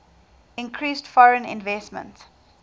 increased foreign investment